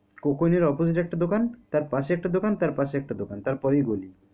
Coke oven এর opposite এ একটা দোকান তার পাশে একটা দোকান তার পরেই গলি।